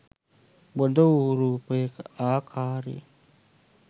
බොඳවූ රූපයක ආකාරයෙන්.